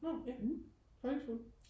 nåh ja folkeskole?